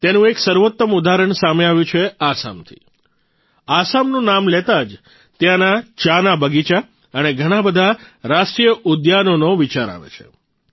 તેનું એક સર્વોત્તમ ઉદાહરણ સામે આવ્યું છે આસામથી આસામનું નામ લેતાં જ ત્યાંના ચાના બગીચા અને ઘણા બધાં રાષ્ટ્રીય ઉદ્યાનોનો વિચાર આવે છે